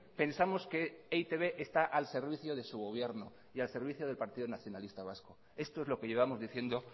pensamos que e i te be está al servicio de su gobierno y al servicio del partido nacionalista vasco esto es lo que llevamos diciendo